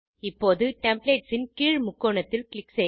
இப்போது டெம்ப்ளேட்ஸ் ன் கீழ் முக்கோணத்தில் க்ளிக்